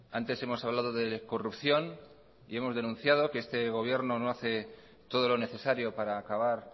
antes hemos hablado de corrupción y hemos denunciado que este gobierno no hace todo lo necesario para acabar